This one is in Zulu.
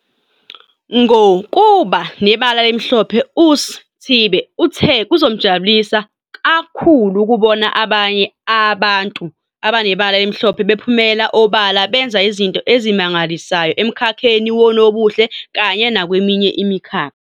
Ngo kuba Nebala Elimhlophe uSi thibe uthe kuzomjabulisa ka khulu ukubona nabanye aba ntu abanebala elimhlophe bephumela obala benza izinto ezimangalisayo emkhakheni wonobuhle kanye nakweminye imikhakha.